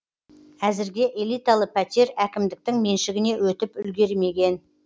әзірге элиталы пәтер әкімдіктің меншігіне өтіп үлгермеген